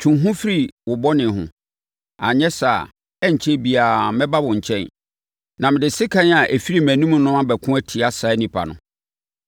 Twe wo ho firi wo bɔne ho. Anyɛ saa a, ɛrenkyɛre biara mɛba wo nkyɛn, na mede sekan a ɛfiri mʼanom no abɛko atia saa nnipa no.